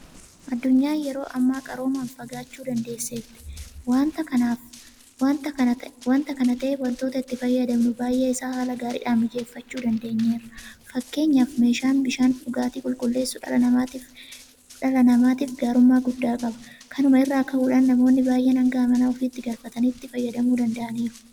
Addunyaan yeroo ammaa qaroomaan fagaachuu dandeesseetti. Waanta kana ta'eef waantota itti fayyadamnu baay'ee isaa haala gaariidhaan mijeeffachuu dandeenyeerra. Fakkeenyaaf meeshaan bishaan dhugaatii qulqulleessu dhala namaatiif gaarummaa guddaa qaba. Kanuma irraa ka'uudhaan namoonni baay'een hanga mana ofiitti galfatanii itti fayyadamuu danda'aniiru.